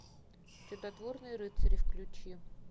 чудотворные рыцари включи